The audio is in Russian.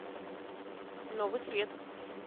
новый свет